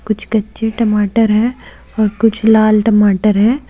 कुछ कच्चे टमाटर है और कुछ लाल टमाटर है।